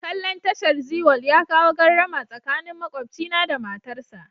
Kalla'n tashar Zee world ya kawo gardama tsakanin makwabcina da matarsa.